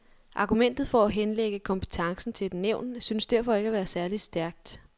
Argumentet for at henlægge kompetencen til et nævn synes derfor ikke at være særligt stærkt.